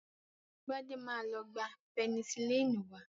Gbadé ma lọ gba pẹnisílínì wá.